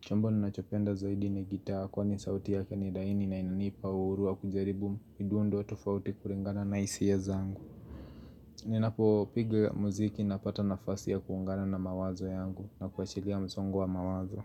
Chombo ninachopenda zaidi ni gitaa kwani sauti yake ni laini na inanipa uhuru wa kujaribu midundo tofauti kulingana na hisia zangu. Ninapopiga muziki napata nafasi ya kuungana na mawazo yangu na kuachilia msongo wa mawazo.